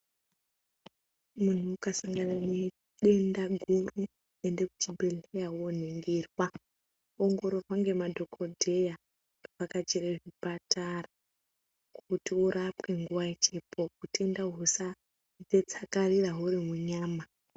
Munhu ukasangane ne denda guru ende kuchibhedhlera woningirwa, ongororwa ngemadhokodheya, vhakachire zvipatara kuti urapwe nguwa ichipo utenda husaotetsakarira hurimunyama.